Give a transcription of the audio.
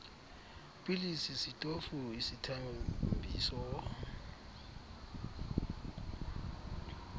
pilisi sitofu isithambiso